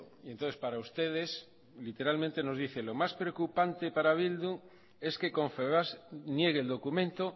y entonces para ustedes literalmente nos dice lo más preocupante para bildu es que confebask niegue el documento